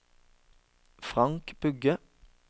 Frank Bugge